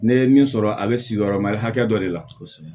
Ne ye min sɔrɔ a bɛ sigiyɔrɔmali hakɛ dɔ de la kosɛbɛ